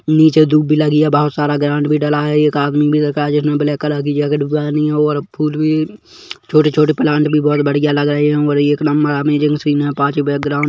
नीचे धूप भी लगी है बहुत सारा ग्राउन्ड भी डला है एक आदमी भी रखा है जिसने ब्लैक कलर की जैकेट पहनी है और फूल भी छोटे- छोटे प्लांट भी बोहोत बढ़िया लग रहे है और एक नंबर अमेजिंग सीन है पास ही बैकग्राउन्ड --